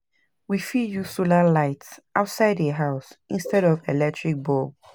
we fit use solar lights outside di house instead of electric bulb